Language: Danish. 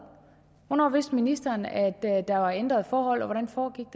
hvornår vidste ministeren at der var ændrede forhold og hvordan foregik